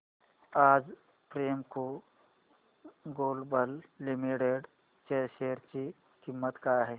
आज Premco global limited च्या share ची किंमत काय आहे